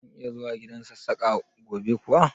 Zan iya zuwa gidan Sassaƙa gobe kuwa?